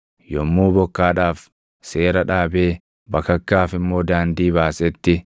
yommuu bokkaadhaaf seera dhaabee bakakkaaf immoo daandii baasetti,